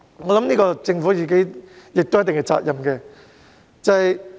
我認為政府應負一定責任。